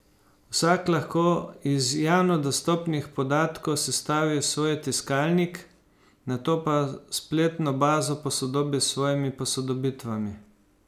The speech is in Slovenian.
Vsak lahko iz javno dostopnih podatkov sestavi svoj tiskalnik, nato pa spletno bazo posodobi s svojimi posodobitvami.